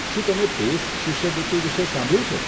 શું તમે પેસ શિષ્યવૃત્તિ વિશે સાંભળ્યું છે?